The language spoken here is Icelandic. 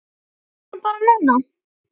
Komiði bara núna.